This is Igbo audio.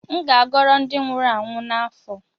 M ga-agoro ndi nwuru anwụ n’afọ